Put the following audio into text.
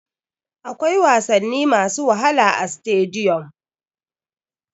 Akwai wasanni masu wahala a stadiyom.